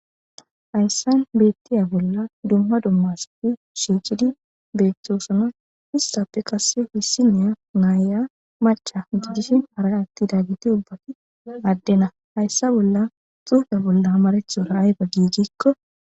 Hayssan beettiya bolla dumma dummasfi shiichidi beettoosana histappe qasse hissiniya naaya macha utudishin hara atti daggiti ubbati addena hayssa bolla xuufe bolla amaretchora ayba giijikko